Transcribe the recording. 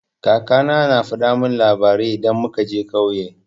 Kaka na na faɗa min labarai idan muka je ƙauye.